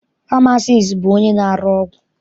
Famasiisti bụ onye na-arụ ọgwụ.